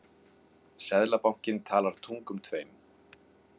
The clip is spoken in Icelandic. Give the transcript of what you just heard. Seðlabankinn talar tungum tveim